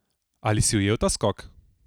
Ali si ujel ta skok?